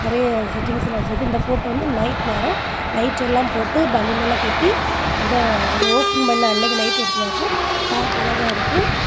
நிறைய செட்டிங்ஸ் எல்லா வெச்சிருக்கு இந்த போட்டோ வந்து நைட் நேரோ லைட் எல்லா போட்டு பலூன் எல்லா கட்டி அந்த ஓப்பன் பண்ண அன்னைக்கு நைட் எடுத்ததா இருக்கும் பாக்க அழகா இருக்கு.